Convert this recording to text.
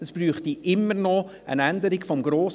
Es bräuchte immer noch eine Änderung des GRG.